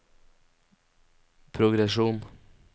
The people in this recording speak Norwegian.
progresjon